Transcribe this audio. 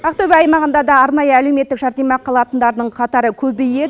ақтөбе аймағында да арнайы әлеуметтік жәрдемақы алатындардың қатары көбейет